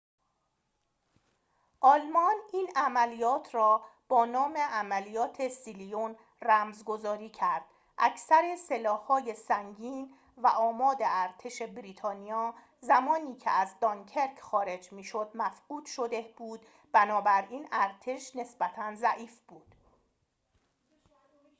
آلمان این عملیات را با نام عملیات سیلیون رمزگذاری کرد اکثر سلاح‌های سنگین و آماد ارتش بریتانیا زمانی که از دانکرک خارج می‌شد مفقود شده بود بنابراین ارتش نسبتاً ضعیف بود